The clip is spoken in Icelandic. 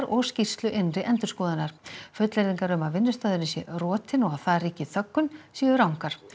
og skýrslu innri endurskoðunar fullyrðingar um að vinnustaðurinn sé rotinn og að þar ríki þöggun séu rangar